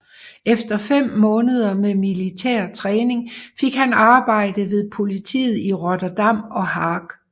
Efter fem måneder med militær træning fik han arbejde ved politiet i Rotterdam og Haag